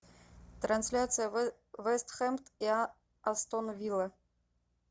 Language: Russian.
трансляция вест хэм и астон вилла